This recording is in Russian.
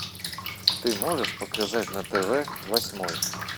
ты можешь показать на тв восьмой